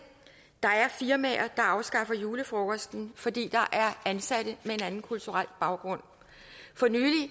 der er firmaer der afskaffer julefrokosten fordi der er ansatte med en anden kulturel baggrund for nylig